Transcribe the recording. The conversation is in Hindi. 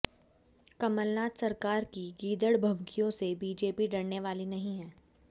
कमलनाथ सरकार की गीदड़ भभकियों से बीजेपी डरने वाली नहीं है